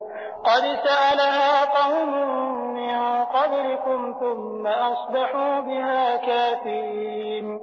قَدْ سَأَلَهَا قَوْمٌ مِّن قَبْلِكُمْ ثُمَّ أَصْبَحُوا بِهَا كَافِرِينَ